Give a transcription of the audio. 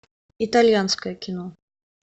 итальянское кино